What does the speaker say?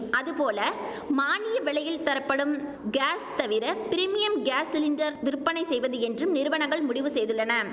அதுபோல மானிய விலையில் தரப்படும் காஸ் தவிர பிரிமியம் காஸ் சிலிண்டர் விற்பனை செய்வது என்றும் நிறுவனங்கள் முடிவு செய்துள்ளன